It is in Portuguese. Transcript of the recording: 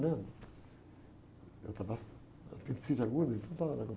né? Eu estava... Apendicite aguda, então estava um negócio